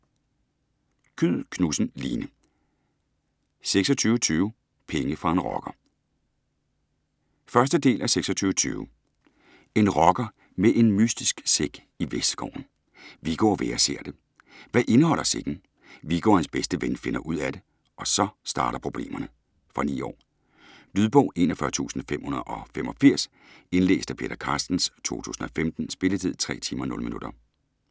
Kyed Knudsen, Line: 2620 - penge fra en rocker 1. del af 2620. En rocker med en mystisk sæk i Vestskoven. Viggo og Vera ser det. Hvad indeholder sækken? Viggo og hans bedste ven finder ud af det, og så starter problemerne. Fra 9 år. Lydbog 41585 Indlæst af Peter Carstens, 2015. Spilletid: 3 timer, 0 minutter.